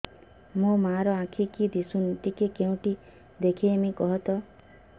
ମୋ ମା ର ଆଖି କି ଦିସୁନି ଟିକେ କେଉଁଠି ଦେଖେଇମି କଖତ